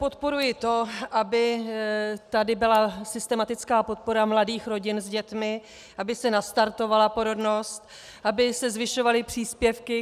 Podporuji to, aby tady byla systematická podpora mladých rodin s dětmi, aby se nastartovala porodnost, aby se zvyšovaly příspěvky.